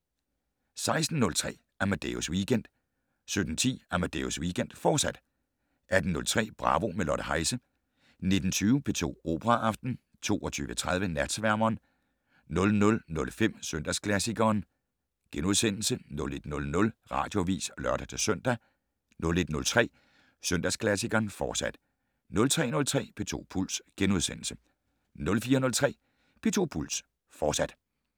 16:03: Amadeus Weekend 17:10: Amadeus Weekend, fortsat 18:03: Bravo - med Lotte Heise 19:20: P2 Operaaften 22:30: Natsværmeren 00:05: Søndagsklassikeren * 01:00: Radioavis (lør-søn) 01:03: Søndagsklassikeren, fortsat 03:03: P2 Puls * 04:03: P2 Puls, fortsat